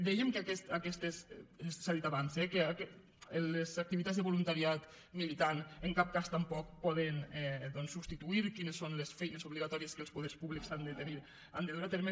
dèiem que s’ha dit abans les activitats de voluntariat militant en cap cas tampoc poden doncs substituir quines són les feines obligatòries que els poders públics han de tenir han de dur a terme